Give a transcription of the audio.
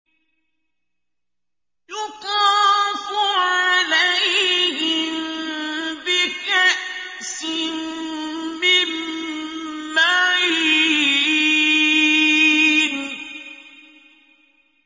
يُطَافُ عَلَيْهِم بِكَأْسٍ مِّن مَّعِينٍ